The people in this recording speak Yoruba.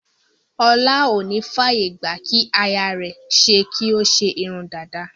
Ọlá ò ní f'àyè gbà kí aya rẹ̀ ṣe kí ó ṣe irun dada.